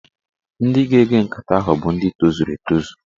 Ndị ga-ege nkata ahụ bụ ndị tozuru etozu